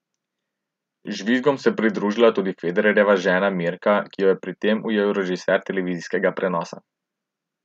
Žvižgom se je pridružila tudi Federerjeva žena Mirka, ki jo je pri tem ujel režiser televizijskega prenosa.